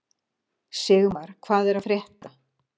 Sigmar, hvað er að frétta?